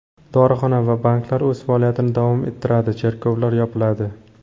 Dorixona va banklar o‘z faoliyatini davom ettiradi, cherkovlar yopiladi.